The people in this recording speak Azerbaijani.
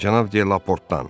Cənab Delaportdan.